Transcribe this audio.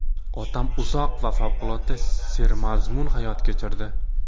Otam uzoq va favqulodda sermazmun hayot kechirdi.